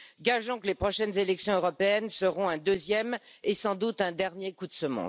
Gageons que les prochaines élections européennes seront un deuxième et, sans doute, un dernier coup de semonce.